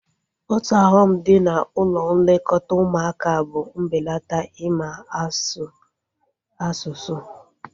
Otu ọghọm dị na ụlọ nlekọta ụmụaka bụ mbelata ịma asụ asụsụ